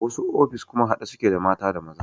Wasu ofis kuma haɗe suke da mata da maza